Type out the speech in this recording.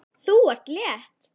Þú ert létt!